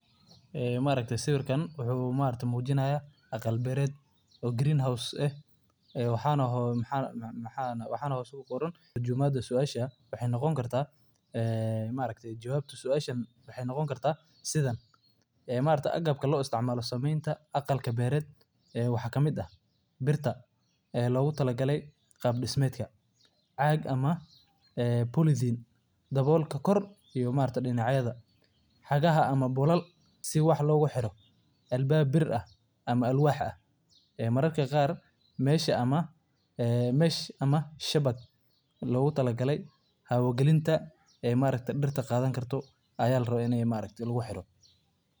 Beerta kuleylka ee leh shabag hadhsan waa hannaan casri ah oo muhiim u ah horumarinta wax-soo-saarka dhirta, maadaama ay si gaar ah uga hortagto kuleylka xad-dhaafka ah ee qorraxda, iyadoo la adeegsanayo shabag gaar ah oo laga sameeyay walxo adkeysi leh, kuwaasoo yareeya heer kulka gudaha beerta isla markaana si fiican u dheellitira iftiinka iyo qoyaanka, taasoo ka dhigaysa deegaanka gudaha mid ku habboon kobaca dhirta.